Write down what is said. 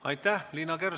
Aitäh!